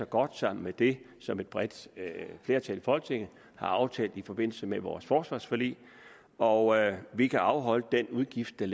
godt sammen med det som et bredt flertal i folketinget har aftalt i forbindelse med vores forsvarsforlig og vi kan afholde udgiften